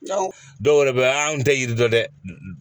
Dɔw yɛrɛ bɛ an tɛ yiri dɔn dɛ